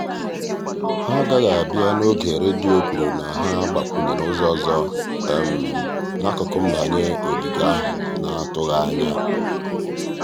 ha agaghị abịa n'oge redio kwuru na ha gbakwunyere ụzọ ọzọ n'akụkụ mbanye ogige ahụ n'atụghị anya.